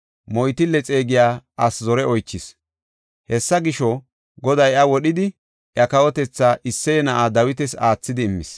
moytille xeegiya asi zore oychis. Hessa gisho, Goday iya wodhidi iya kawotetha Isseye na7aa Dawitas aathidi immis.